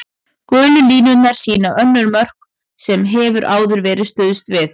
Gulu línurnar sýna önnur mörk sem hefur áður verið stuðst við.